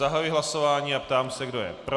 Zahajuji hlasování a ptám se, kdo je pro.